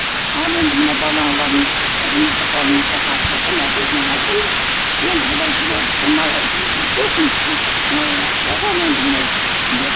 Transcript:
ал енді мына балаларыңыз қызыңызды қолыңызға тапсырдым әкесіне айтыңыз енді бұлай жіберіп өйтпесін мынау обал енді мынау деп